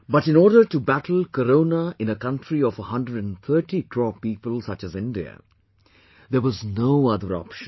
But in order to battle Corona in a country of 130 crore people such as India, there was no other option